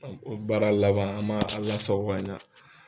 o baara laban an man a lasako ka ɲa.